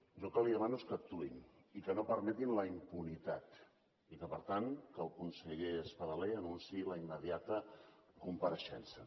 jo el que li demano és que actuïn i que no permetin la impunitat i que per tant el conseller espadaler anunciï la immediata compareixença